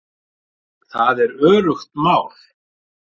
Það er öruggt mál